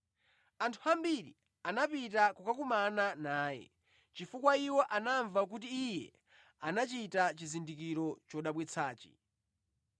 Anthu ambiri, anapita kukakumana naye, chifukwa iwo anamva kuti Iye anachita chizindikiro chodabwitsachi.